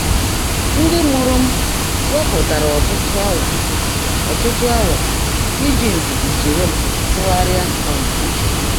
Ndị́ mụ́ụ́rụ́ m weèpụ́táárá ọ́tụ́tụ́ áwà ọ́tụ́tụ́ áwà jị́ ndị́dí sóòró m tụ́ghárị́á um úche.